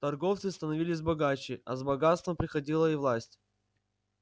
торговцы становились богаче а с богатством приходила и власть